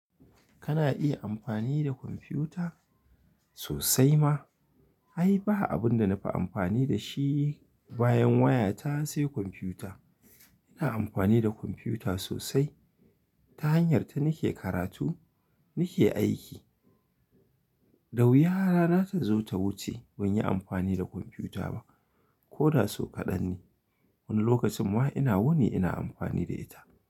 Kana iya amfani da kwamfiyuta? Sosai ma. Ai, ba abin da na fi amfani da shi bayan wayata, sai kwamfiyuta. Ina amfani da kwamfiyuta sosai. Ta hanyarta nake karatu, nake aiki. Da wuya rana ta zo ta wuce, ban yi amfani da kwamfiyuta ba. Ko da sau kaɗan ne. Wani lokacin ma ina wuni ina amfani da ita.